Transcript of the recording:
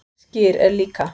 Skyr er líka